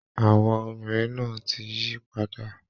Àwọ̀ obìnrin náà ti yí padà